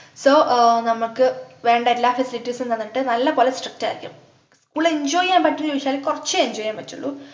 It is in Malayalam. so ആഹ് നമ്മക്ക് വേണ്ട എല്ലാ facilities ഉം തന്നിട്ട് നല്ല പോലെ strict ആയിരിക്കും school enjoy ചെയ്യാൻ പറ്റുമോ ന്നു ചോയിച്ചാല് കോർച്ചേ enjoy ചെയ്യാൻ പറ്റുള്ളൂ